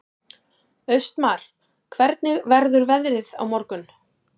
Austmar, hvernig verður veðrið á morgun?